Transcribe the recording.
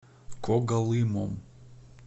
когалымом